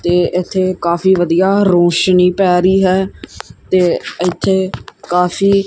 ਤੇ ਇੱਥੇ ਕਾਫੀ ਵਧੀਆ ਰੋਸ਼ਨੀ ਪੈ ਰਹੀ ਹੈ ਤੇ ਇੱਥੇ ਕਾਫੀ--